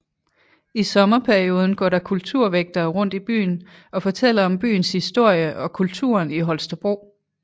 I sommerperioden går der kulturvægtere rundt i byen og fortæller om byens historie og kulturen i Holstebro